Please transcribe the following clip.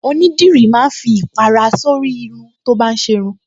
Onídìrí máa ń fi ìpàrà sórí irun tó bá ń ṣe irun